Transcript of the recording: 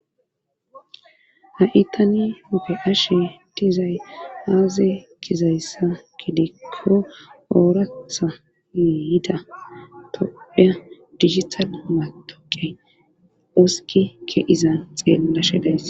ha7i tani upe ashe dizay aaze kizayssa kidekko oorathane yida toya dijital matoqey oskike izan xeellashe days.